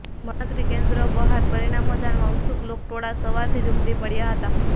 મતગણતરી કેન્દ્રો બહાર પરિણામો જાણવા ઉત્સુક લોકટોળા સવારથી જ ઉમટી પડયા હતા